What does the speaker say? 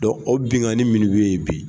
o benkanni minnu be yen bi